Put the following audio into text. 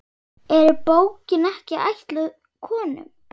Er bókin ekki ætluð konum?